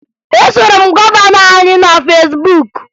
E soro m gọvanọ anyị na Fesbuk